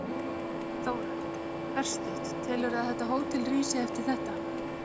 Þóra: Örstutt, telurðu að þetta hótel rísi eftir þetta?